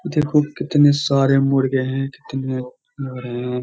देखो कितने सारे मुर्गे हैं कितने --